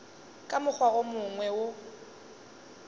ka mokgwa wo mongwe o